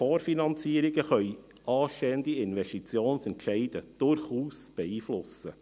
Vorfinanzierungen können anstehende Investitionsentscheide durchaus beeinflussen.